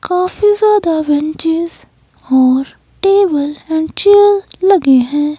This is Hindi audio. काफी ज्यादा बेंचेस और टेबल एंड चेयर लगे हैं।